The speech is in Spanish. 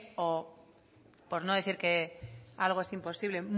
o por no decir que algo es imposible